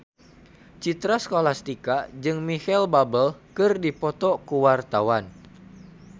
Citra Scholastika jeung Micheal Bubble keur dipoto ku wartawan